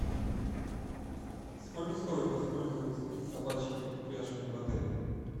сколько стоит воспользоваться собачьими упряжками в отеле